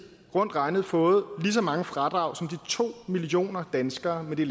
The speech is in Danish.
rundt regnet fået lige så mange fradrag som de to millioner danskere med de